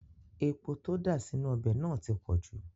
Epo tó dà sínú ọbẹ̀ náà ti pọ̀jù